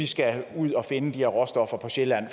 skal ud og finde de her råstoffer på sjælland